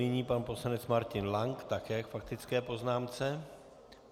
Nyní pan poslanec Martin Lank také k faktické poznámce.